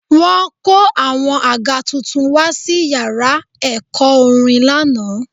Wọ́n kó àwọn àga tuntun wá sí yàrá ẹ̀kọ́ orin lánàá